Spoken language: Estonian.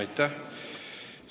Aitäh!